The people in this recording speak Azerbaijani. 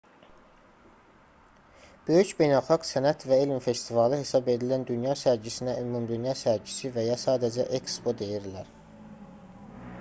böyük beynəlxalq sənət və elm festivalı hesab edilən dünya sərgisinə ümumdünya sərgisi və ya sadəcə ekspo deyirlər